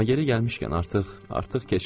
amma yeri gəlmişkən artıq, artıq keçdi.